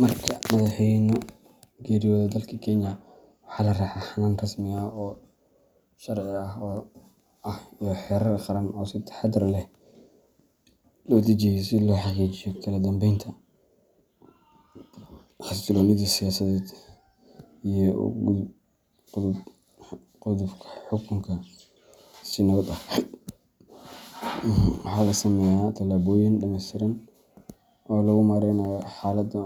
Marka madhax weynaha geeriyodo dalka kenya waxaa la raxa ahan ka sameya si lo xaqijiyo kala danbenta, waxaa lasameya tilaboyin kala duwan si lo mareyo, isdilka